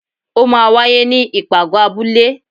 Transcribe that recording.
o maa wàyé ní ipágọ abúle